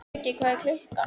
Skuggi, hvað er klukkan?